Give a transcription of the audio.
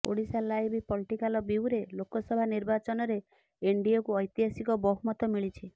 Odisha live political bureau Lok Sabha ନିର୍ବାଚନରେ ଏନଡିଏକୁ ଐତିହାସିକ ବହୁମତ ମିଳିଛି